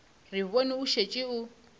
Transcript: re bone o šetše o